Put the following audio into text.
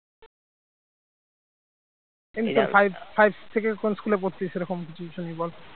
five থেকে কোন school পড়তে সেরকম কিছু শুনি বল